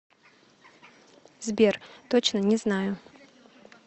сбер точно не знаю